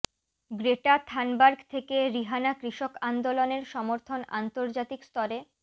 Greta Thunberg থেকে Rihanna কৃষক আন্দোলনের সমর্থন আন্তর্জাতিক স্তরে